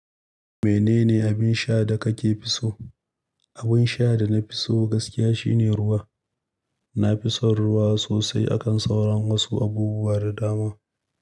Menene abin sha da ka fi so? Abin sha da na fi so gaskiya shine ruwa. Na fi son ruwa sosai akan sauran wasu abubuwa da dama.